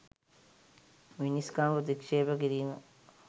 මිනිස්කම ප්‍රතික්ෂේප කිරීම.